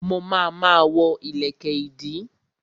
Mo ma ma wọ́ ìlẹ̀kẹ̀ ìdí